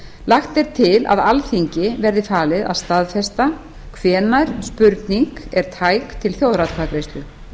lagt er til að alþingi verði falið að staðfesta hvenær spurning er tæk til þjóðaratkvæðagreiðslu